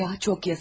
Ay ya, çox yazık.